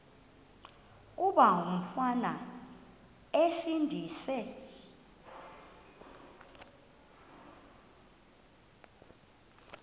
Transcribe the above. kuba umfana esindise